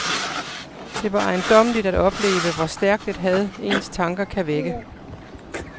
Det var ejendommeligt at opleve, hvor stærkt et had ens tanker kan vække.